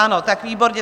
Ano, tak výborně.